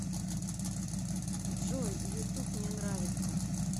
джой ютуб мне нравится